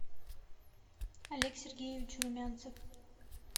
олег сергеевич румянцев